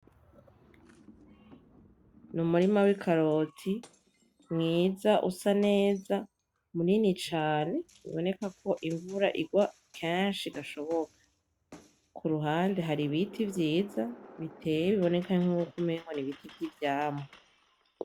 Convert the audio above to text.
Ni umurima w'ikaroti mwiza usa neza munini cane, uboneka ko imvura igwa kenshi gashoboka, kuruhande hari ibiti vyiza biteye biboneka nkuko umengo n'ibiti vy'ivyamwa.